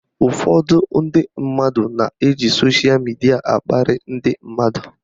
Ụfọdụ ndị mmadụ na-eji soshal midia akparị ndị mmadụ